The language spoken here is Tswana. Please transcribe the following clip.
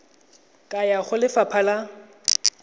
ka ya go lefapha la